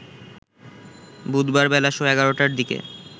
বুধবার বেলা সোয়া ১১টার দিকে